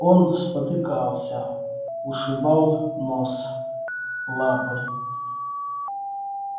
он спотыкался ушибал нос лапы